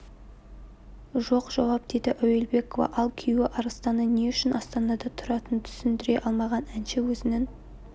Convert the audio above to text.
жоқ жауап деді әуелбекова ал күйеуі арыстанның не үшін астанада тұратынын түсіндіре алмаған әнші өзінің